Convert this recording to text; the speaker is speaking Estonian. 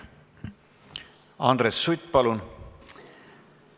Andres Sutt, palun!